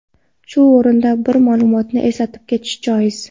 Shu o‘rinda bir ma’lumotni eslatib ketish joiz.